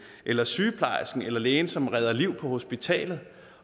eller sygeplejersken eller lægen som redder liv på hospitalet